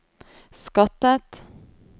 skattet